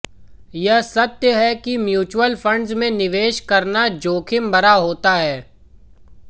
यह सत्य है कि म्यूचुअल फण्ड्स में निवेश करना जोखिमभरा होता है